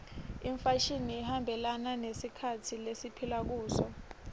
imfashini ihambelana nesikhatsi lesiphila kuso